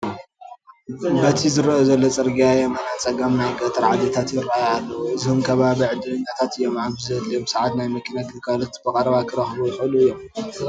በቲ ዝርአ ዘሎ ፅርጊያ የማና ፀጋም ናይ ገጠር ዓድታት ይርአዩ ኣለዉ፡፡ እዞም ከባቢ ዕድለኛታት እዮም፡፡ ኣብ ዘድለዮም ሰዓት ናይ መኪና ግልጋሎት ብቐረባ ክረኽቡ ይኽእሉ እዮም፡፡